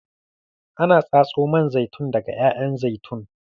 Ana tatso man zaitun daga ƴaƴan zaitun.